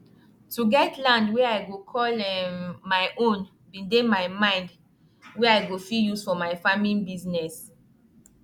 to get land wey i go call um my own bin dey my mind wey i go fit use for my farming bizness